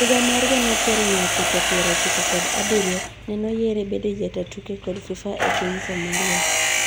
Higa mar gana achiel mia chiko piero ochiko kod abirio, nenoyiere bedo jataa tuke kod FIFA epiny Somalia.